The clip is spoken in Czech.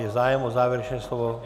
Je zájem o závěrečné slovo?